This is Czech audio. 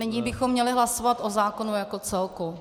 Nyní bychom měli hlasovat o zákonu jako celku.